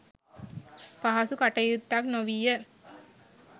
පහසු කටයුත්තක් නොවීය.